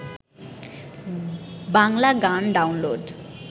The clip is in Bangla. বাংলা গান ডাউনলোড